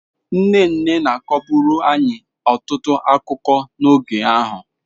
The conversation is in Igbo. Nne nne na-akọburu anyị ọtụtụ akụkọ n'oge ahụ.